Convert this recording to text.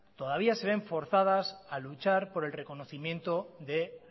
todavía se ven forzadas a luchar por el reconocimiento de